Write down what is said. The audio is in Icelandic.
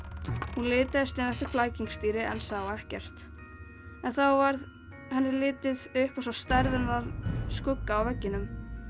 hún litaðist um eftir flækingsdýri en sá ekkert þá varð henni litið upp og sá stærðarinnar skugga á veggnum